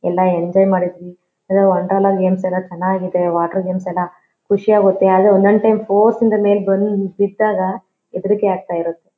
ಎಲ್ಲಾ ಎಂಜಾಯ್ ಮಾಡಿದ್ದ್ವಿ. ಅಹ್ ವಂಡರ್ಲಾ ಗೇಮ್ಸ್ ಚೆನ್ನಾಗಿದೆ ವಾಟರ್ ಗೇಮ್ಸ್ ಎಲ್ಲಾ. ಖುಷಿ ಆಗುತ್ತೆ ಆದ್ರೆ ಒಂದ ಒಂದ ಟೈಂ ಫೋರ್ಸ್ ಯಿಂದ ಮೇಲೆ ಬಂದ ಬಿದ್ದಾಗ ಹೆದರಿಕೆ ಆಗತ್ತಿರುತೇ.